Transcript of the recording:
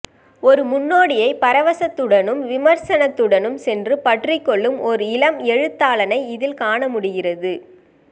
ஒரு முன்னோடியை பரவசத்துடனும் விமர்சனத்துடனும் சென்று பற்றிக்கொள்ளும் ஓர் இளம் எழுத்தாளனை இதில் காணமுடிகிறது